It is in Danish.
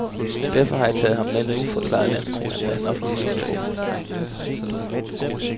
Derfor har jeg taget ham med nu, forklarede landstræneren, da han offentliggjorde truppen.